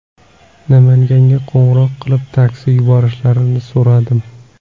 Namanganga qo‘ng‘iroq qilib, taksi yuborishlarini so‘radim.